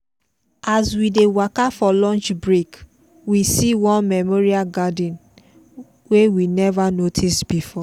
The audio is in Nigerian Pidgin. as we dey waka for lunch break we see one memorial garden wey we never notice before.